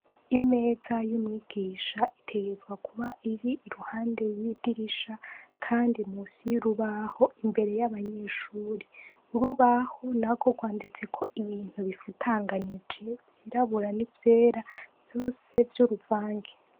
Imeza y'umwigisha itegerezwa kuba iri iruhande yidirisha Kandi munsi yurubaho imbere yabanyeshure urubaho nagwo gwanditseko ibintu bifutanganije vyirabura ni vyera vyose vyuruvangi